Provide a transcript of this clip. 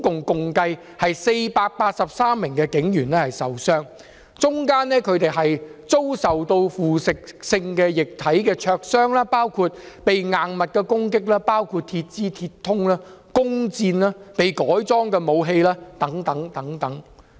共有483名警員受傷，當中有警員被腐蝕性液體灼傷或被攻擊，包括硬物、鐵枝、鐵通、弓箭及被改裝的武器等。